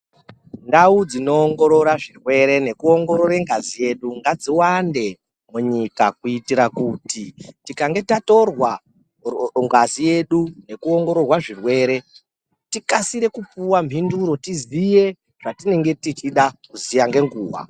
Ndau dzinoongorora zvirwere nekuongorora ngazi yedu ngadzi wande munyika kuitira kuti tikange tatorwa ngazi yedu nekuongororwa zvirwere tikasire kupuwa mhinduro tizive zvatinenge tichida kuziya ngenguwa.